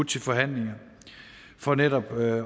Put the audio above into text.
til forhandlinger for netop at